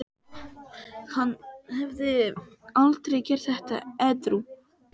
Hann hefði aldrei gert þetta edrú.